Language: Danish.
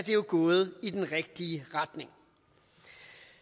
jo gået i den rigtige retning